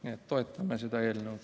Nii et toetame seda eelnõu.